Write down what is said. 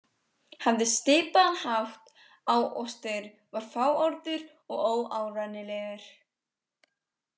Hafði svipaðan hátt á og Styrr, var fáorður og óárennilegur.